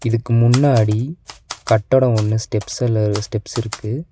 இதுக்கு முன்னாடி கட்டடோ ஒன்னு ஸ்டெப்ஸல்ல ஸ்டெப்ஸ் இருக்கு.